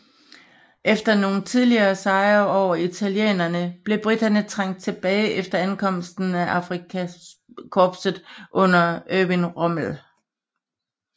Efter nogle tidlige sejre over italienerne blev briterne trængt tilbage efter ankomsten af Afrikakorpset under Erwin Rommel